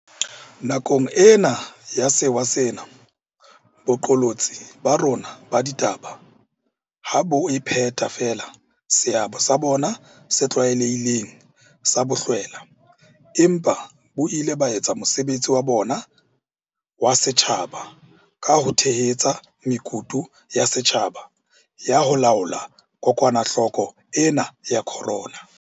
Nakong ena ya sewa sena, boqolotsi ba rona ba ditaba ha bo a phetha feela seabo sa bona se tlwaelehileng sa bohlwela, empa bo ile ba etsa mosebetsi wa bona wa setjhaba ka ho tshehetsa mekutu ya setjhaba ya ho laola kokwanahloko ena ya corona.